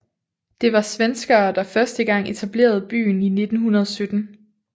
Det var svenskere der første gang etablerede byen i 1917